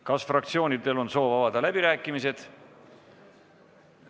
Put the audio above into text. Kas fraktsioonidel on soovi avada läbirääkimised?